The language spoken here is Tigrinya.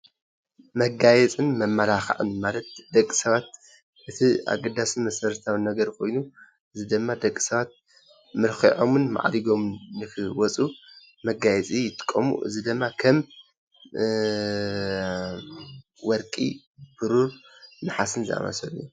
መጋየፅን መማላክዕን ማለት ንደቂ ሰባት እቲ ኣገዳሲን መሰረታውን ነገር ኮይኑ ፤እዚ ድማ ደቂ ሰባት መልኪዖምን ማዕሪጎምን ንክወፁ መጋየፂ ይጥቀሙ፡፡ እዚ ድማ ከም ወርቂ፣ ብሩር፣ ነሓስን ዝኣምሳሰሉ እዮም፡፡